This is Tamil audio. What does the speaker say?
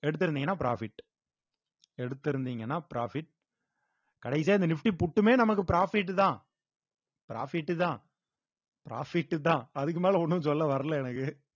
எடுத்திருந்தீங்கன்னா profit எடுத்து இருந்தீங்கன்னா profit கடைசியா இந்த nifty put மே நமக்கு profit தான் profit தான் profit தான் அதுக்கு மேல ஒண்ணும் சொல்ல வரல எனக்கு